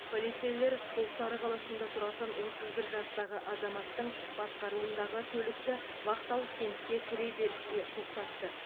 полицейлер құлсары қаласында тұратын отыз бір жастағы азаматтың басқаруындағы көлікті вахталық кентке кіреберісте тоқтатты